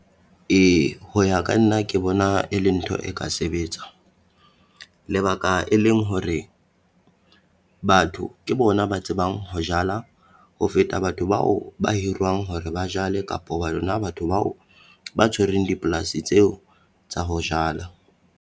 Ee ho ya ka nna ke bona e le ntho e ka sebetswa, lebaka e leng hore batho ke bona ba tsebang ho jala ho feta batho bao ba hiruwang hore ba jale, kapo ba rona batho bao ba tshwereng dipolasi tseo tsa ho jala.